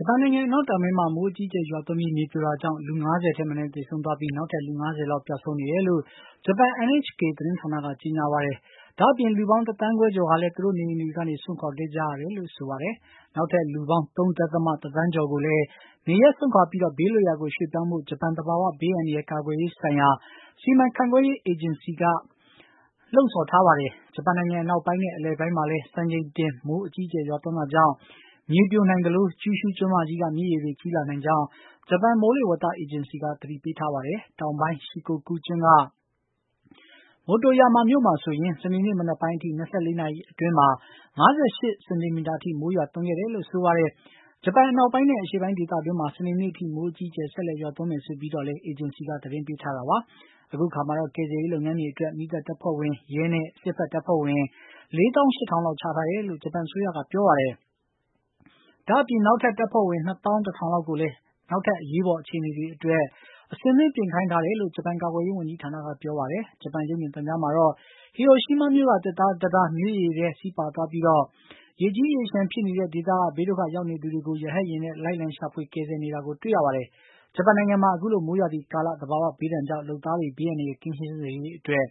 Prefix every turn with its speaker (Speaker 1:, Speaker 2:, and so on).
Speaker 1: ဂျပန်နိုင်ငံအနောက်တောင်ပိုင်းမှာ မိုးအကြီးအကျယ်ရွာသွန်းပြီး မြေပြိုတာကြောင့် လူ ၅၀ ထက် မနည်း သေဆုံးသွားပြီး နောက်ထပ် လူ ၅၀ လောက် ပျောက်ဆုံးနေတယ်လို့ ဂျပန် NHK သတင်းဌာနက ကြေညာပါတယ်။ ဒါ့အပြင် လူပေါင်း ၁ သန်းခွဲကျော်ဟာလည်း သူတို့နေအိမ်တွေကနေ စွန့်ခွါခဲ့ကြတယ်လို့ ဆိုပါတယ်။ နောက် ထပ် လူပေါင်း ၃.၁ သန်းကျော်ကိုလည်း နေရပ်စွန့်ခွါပြီး ဘေးလွတ်ရာကို ရွှေ့ပြောင်းဖို့ ဂျပန် သဘာဝဘေး အန္တရာယ် ကာကွယ်ရေးဆိုင်ရာ စီမံခန့်ခွဲရေး အေဂျင်စီက ပြောပါတယ်။ ဂျပန်နိုင်ငံ အနောက်ပိုင်းနဲ့ အလယ်ပိုင်းမှာလည်း စံချိန်တင် မိုး အကြီးအကျယ်ရွာသွန်းတာကြောင့် မြေပြိုနိုင်သလို ကျူရှုးကျွန်းမကြီးက မြစ်ရေတွေ ကြီးလာနိုင်ကြောင်း ဂျပန်မိုးလေဝသအေဂျင်စီက သတိပေးထားပါတယ်။ တောင်ပိုင်း Shikokou ကျွန်းက Motoyama မြို့မှာဆိုရင် စနေနေ့မနက်ပိုင်းအထိ ၂၄ နာရီအတွင်း ၅၈ စင်တီမီတာထိ မိုးရွာသွန်းခဲ့တယ်လို့ ဆိုပါတယ်။ ဂျပန်အနောက်ပိုင်းနဲ့ အရှေ့ပိုင်းဒေသတွင်းမှာ စနေ့နေ့ထိ မိုးအကြီးအကျယ် ဆက်လက်ရွာသွန်းမယ်ဆိုပြီး အေဂျင်စီက သတင်းပေးထားတာပါ။ အခုအခါမှာတော့ ကယ်ဆယ်ရေးလုပ်ငန်းတွေအတွက် မီးသတ်တပ်ဖွဲ့ဝင်၊ ရဲနဲ့ စစ်ဘက်တပ်ဖွဲ့ဝင် ၄၈,၀၀၀ လောက် ချထားတယ်လို့ ဂျပန်အစိုးရကပြောပါတယ်။ ဒါ့အပြင် နောက်ထပ် တပ်ဖွဲ့ဝင် ၂၁,၀၀၀ လောက် ကိုလည်း နောက်ထပ် အရေးပေါ် အခြေအနေအတွက် အဆင်သင့်ပြင်ထားခိုင်းတယ်လို့ ဂျပန်ကာကွယ်ရေး ဝန်ကြီးဌာနက ပြောပါတယ်။ ဂျပန်ရုပ်မြင်သံကြားမှာတော့ ဟီရိုရှီးမားမြို့က သစ်သားတံတား မြစ်ရေထဲ စီးပါသွားပြီး ရေကြီးရေလျှံဖြစ်နေတဲ့ ဒေသက ဘေးဒုက္ခရောက်နေသူတွေကို ရဟတ်ယာဉ်နဲ့ လိုက်လံရှာဖွေ ကယ်ဆယ်နေတာကို တွေ့ရပါတယ်။ ဂျပန်နိုင်ငံမှာ အခုလို မိုးရာသီကာလ သဘာဝဘေးဒဏ်ကြောင့် လုပ်သားတွေ ဘေးအန္တရာယ်ကင်းရှင်း စေရေးအတွက်